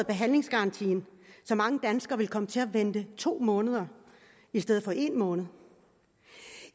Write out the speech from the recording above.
behandlingsgarantien så mange danskere kommer til at vente to måneder i stedet for en måned